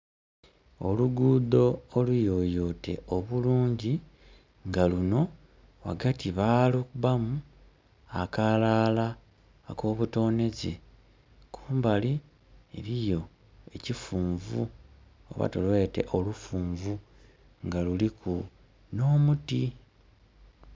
Olugudho oluyoyote obulungi nga lunho ghagati balukubamu akalala ako butonheze. Kumbali eriyo ekifunvu oba tulwete olufunvu nga luliku nho muti.